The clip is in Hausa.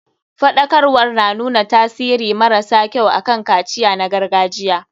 Faɗakarwar na nuna tasiri mara sa kyau akan kaciya na gargajiya.